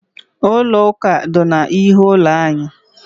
Ụlọ ụka dị n'ihu ụlọ anyị.